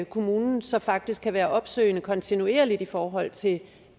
kommunen så faktisk kan være opsøgende kontinuerligt i forhold til